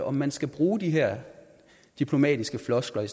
om man skal bruge de her diplomatiske floskler i